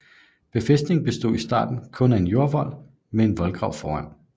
Befæstningen bestod i starten kun af en jordvold med en voldgrav foran